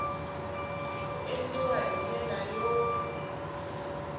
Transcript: ku endliwa hi ndlela yo